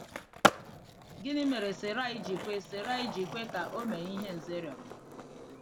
Gịnị mere Sarai ji kwe Sarai ji kwe ka o mee ihe Nze rịọrọ?